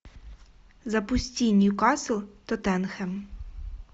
запусти ньюкасл тоттенхэм